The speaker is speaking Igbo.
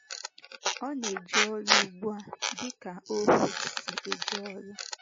Ọ na - eje ọrụ ugbu a, dị ka ohú si eje ọrụ.